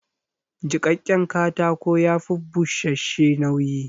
Jiƙaƙƙen katako ya fi bushash-she nauyi